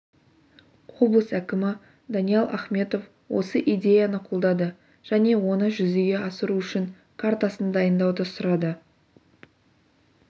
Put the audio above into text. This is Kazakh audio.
облыс әкімі даниал ахметов осы идеяны қолдады және оны жүзеге асыру үшін жол картасын дайындауды сұрады